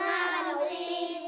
já í